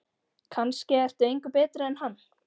Kannske ertu engu betri en hann.